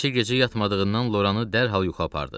Bir neçə gecə yatmadığından Loranı dərhal yuxu apardı.